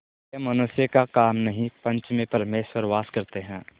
यह मनुष्य का काम नहीं पंच में परमेश्वर वास करते हैं